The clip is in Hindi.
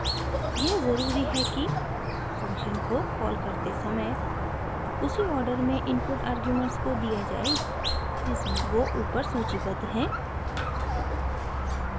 यह ज़रूरी है कि फ़ंक्शन को कॉल करते समय उसी ऑर्डर में इनपुट अर्गुमेंट्स को दिया जाए जिसमें वो ऊपर सूचीबद्ध हैं